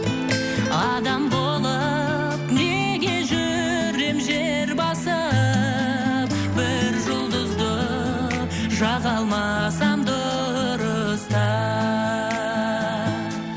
адам болып неге жүрем жер басып бір жұлдызды жаға алмасам дұрыстап